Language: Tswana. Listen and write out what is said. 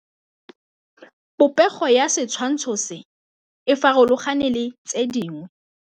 Popêgo ya setshwantshô se, e farologane le tse dingwe.